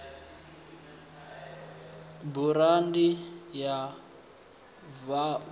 burandi ya v o a